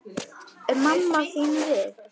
Er mamma þín við?